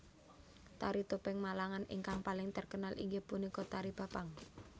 Tari topeng Malangan ingkang paling terkenal inggih punika tari Bapang